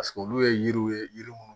olu ye yiriw ye yiri minnu